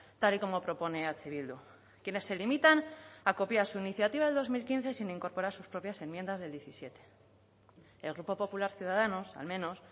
tal y como propone eh bildu quienes se limitan a copiar su iniciativa de dos mil quince sin incorporar sus propias enmiendas del diecisiete el grupo popular ciudadanos al menos